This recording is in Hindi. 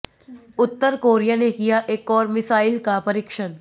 उत्तर कोरिया ने किया एक और मिसाइल का परीक्षण